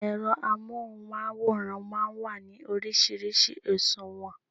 Ẹ̀rọ amóhùnmáwòrán máa ń wà ní oríṣiríṣi òṣùwọ̀n